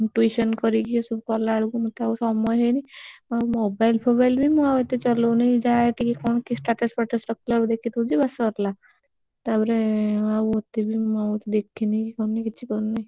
Tuition କରିକି ଏଇସବୁ କଲାବେଳକୁ ମତେ ଆଉ ସମୟ ହଉନି ମୋ mobile ଫୋବାଇଲି ମୁଁ ଏତେ ଚଲଉନି ଯାହା ଏତିକି କଣ କିଏ? status ଫାଟୁସ ରଖିଲା ବେଳକୁ ଦେଖିଦଉଛି ବାସ ସରିଲା ତାପରେ ମୁଁ ଆଉ ଏତେବି ମୁଁ ଆଉ ଦେଖିନିକି ଇଏ କରିନି କିଛି କରିନି।